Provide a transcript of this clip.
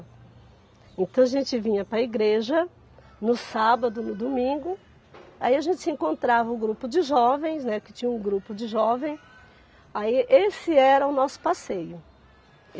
Então a gente vinha para a igreja, no sábado, no domingo, aí a gente se encontrava o grupo de jovens, né, que tinha um grupo de jovens, aí esse era o nosso passeio.